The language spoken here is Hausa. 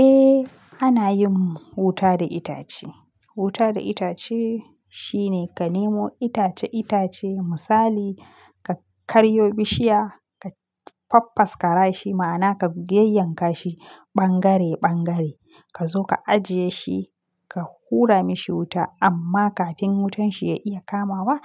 Eh ana yin wuta da itace. Wuta da itace shine ka nemo itace-itace misali ka karyo bishiya, ka faffas karashi ma'ana ka yayyanka shi ɓangare-ɓangare. Ka zo ka ajiye shi, ka hura mashi wuta amma kafin wutan shi ya iya kamawa,